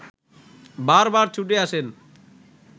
বারবার ছুটে আসেন